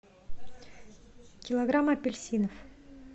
килограмм апельсинов